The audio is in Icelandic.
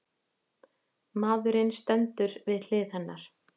Maðurinn stendur við hlið hennar.